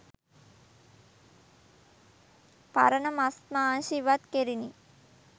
පරණ මස් මාංශ ඉවත් කෙරිණි.